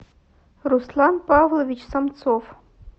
руслан павлович самцов